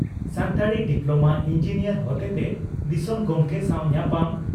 Santali diploma engineer ᱦᱚᱛᱮᱛᱮ ᱫᱤᱥᱚᱢ ᱜᱚᱢᱠᱮ ᱥᱟᱣ ᱧᱟᱯᱟᱢ